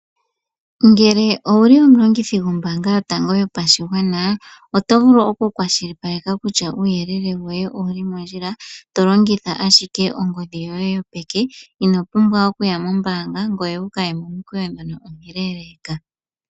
Ngele owuli omulongithi gombaanga yotango yopashigwana oto vulu okukwashilipaleka kutya uuyelele woye owuli mondjila tolongitha ashike ongodhi yoye yopeke, ino pumbwa okuya mombaanga ngoye wukaye momukweyo ngono omuleleka.